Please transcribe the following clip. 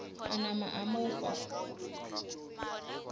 a napa a mo fa